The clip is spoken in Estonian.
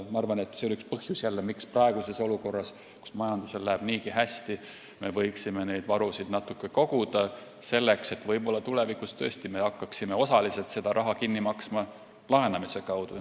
Ma arvan, et see on üks põhjus, miks me võiksime praeguses olukorras, kus majandusel läheb niigi hästi, neid varusid natukene koguda, sest võib-olla tuleb meil tulevikus tõesti hakata seda raha kinni maksma osaliselt laenamise kaudu.